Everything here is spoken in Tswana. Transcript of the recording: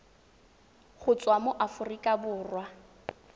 go tswa mo aforika borwa